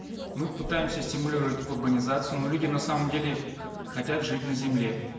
мы пытаемся стимулировать урбанизацию но люди на самом деле хотят жить на земле